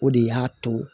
O de y'a to